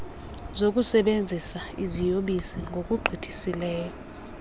zokusebenzisa iziyobisi ngokugqithisileyo